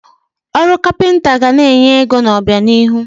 Ọrụ kapịnta ga na-enye ego n'obianihu.